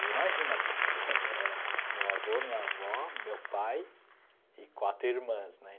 E imagina porque era meu avô, minha avó, meu pai e quatro irmãs, né?